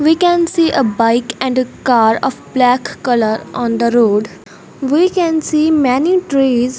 we can see a bike and the car of black colour on the road we can see many trees.